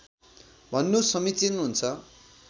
भन्नु समीचीन हुन्छ